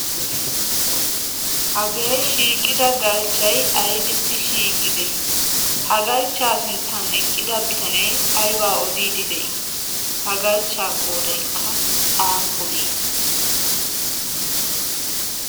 hagee shiiqida galchchai aibissi shiiqqidee ha galchchaa sinttan eqqida bitanee aibaa odiidi de'ii ha galchchaa qoodaikka aappunee?